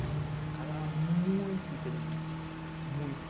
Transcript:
O cara era muito inteligente, muito.